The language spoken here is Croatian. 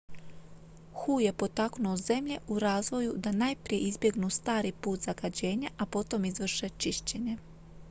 "hu je potaknuo zemlje u razvoju "da najprije izbjegnu stari put zagađenja a potom izvrše čišćenje"".